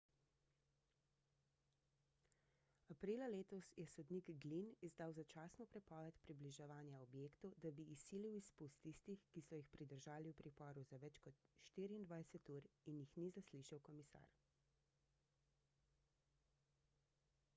aprila letos je sodnik glynn izdal začasno prepoved približevanja objektu da bi izsilil izpust tistih ki so jih pridržali v priporu za več kot 24 ur in jih ni zaslišal komisar